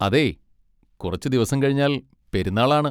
അതേയ് കുറച്ചുദിവസം കഴിഞ്ഞാൽ പെരുന്നാൾ ആണ്.